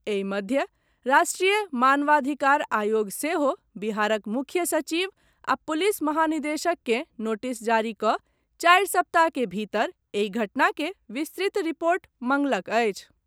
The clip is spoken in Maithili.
एहि मध्य, राष्ट्रीय मानवाधिकार आयोग सेहो बिहारक मुख्य सचिव आ पुलिस महानिदेशक के नोटिस जारी कऽ चारि सप्ताह के भीतर एहि घटना के विस्तृत रिपोर्ट मांगलक अछि।